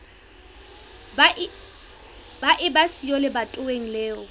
ba eba siyo lebatoweng leo